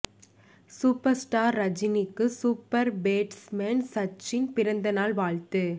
super star ரஜினிக்கு super batsmen Sachin பிறந்த நாள் வாழ்த்து